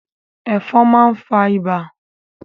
Ẹ̀fọn máa ń fa ibà.